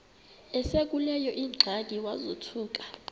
esekuleyo ingxaki wazothuka